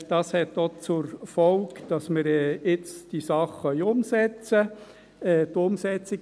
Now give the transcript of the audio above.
Dies hat auch zur Folge, dass wir diese Sache jetzt umsetzen können.